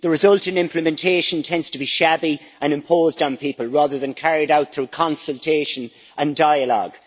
The result in implementation tends to be shabby and imposed on people, rather than carried out through consultation and dialogue.